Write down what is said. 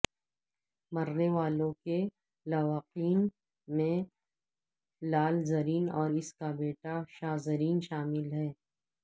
مرنے والوں کے لواحقین میں لال زرین اور اس کا بیٹا شا زرین شامل ہیں